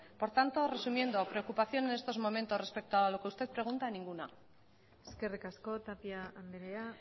por tanto resumiendo preocupación en estos momentos respecto a lo que usted pregunta ninguna eskerrik asko tapia andrea